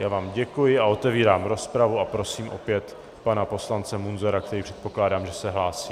Já vám děkuji a otevírám rozpravu a prosím opět pana poslance Munzara, který, předpokládám, že se hlásí.